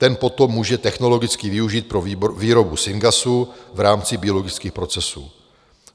Ten potom může technologicky využít pro výrobu syngasu v rámci biologických procesů.